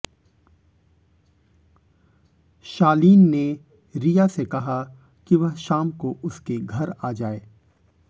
शालीन ने रिया से कहा कि वह शाम को उसके घर आ जाए